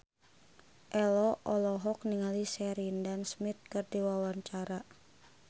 Ello olohok ningali Sheridan Smith keur diwawancara